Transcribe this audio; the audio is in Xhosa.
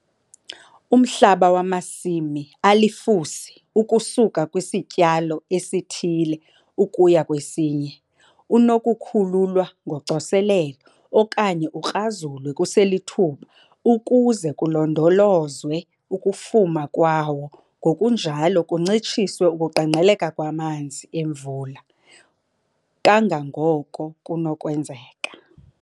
Umhlaba wamasimi alifusi ukusuka kwisityalo esithile ukuya kwesinye unokukhululwa ngocoselelo okanye ukrazulwe kuselithuba ukuze kulondolozwe ukufuma kwawo ngokunjalo kuncitshiswe ukuqengqeleka kwamanzi emvula kangangoko kunokwenzeka.